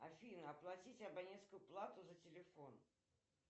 афина оплатить абонентскую плату за телефон